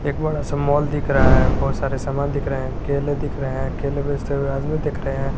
एक बड़ा सा माल दिख रहा है बहुत सारे सामान दिख रहे हैं केले दिख रहे हैं केले बेचते हुए आदमी दिख रहे हैं।